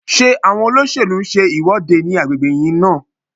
Ṣé àwọn olóṣèlú ń ṣe ìwọ́de ní agbègbè yín náà?